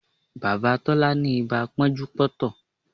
Bàbá Tọ́lá ni ibà pọ́njú pọ́ntọ̀